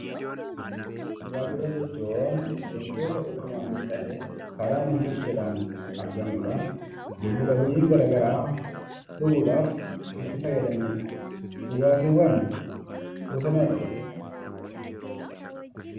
Dhugaatiiwwan jechuun wantoota uumamaanis ta'e karaa nam-tolcheedhaan argamudha. Lubbu qabeeyyiin garaa garaa dhuguudhaaf itti fayyadamanidha. Dhugaatiiwwan gosa meeqa qabu?